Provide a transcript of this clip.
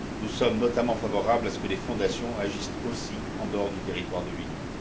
Nous sommes notamment favorables à ce que les fondations agissent aussi en dehors du territoire de l'Union.